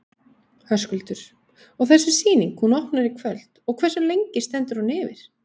Höskuldur: Og þessi sýning, hún opnar í kvöld og hversu lengi stendur hún yfir?